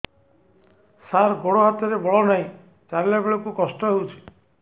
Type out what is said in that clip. ସାର ଗୋଡୋ ହାତରେ ବଳ ନାହିଁ ଚାଲିଲା ବେଳକୁ କଷ୍ଟ ହେଉଛି